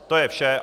To je vše.